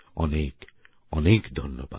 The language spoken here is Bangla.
অনেক অনেক ধন্যবাদ